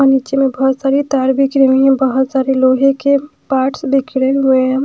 और नीचे में बहोत सारे तार बिछे हुए हैं बहोत सारे लोहे के पार्ट्स बिखरे हुए हैं।